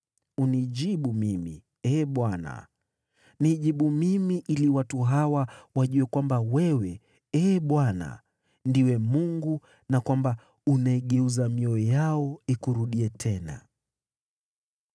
Unijibu mimi, Ee Bwana , nijibu mimi, ili watu hawa wajue kwamba wewe, Ee Bwana , ndiwe Mungu, na kwamba unaigeuza mioyo yao ikurudie tena.”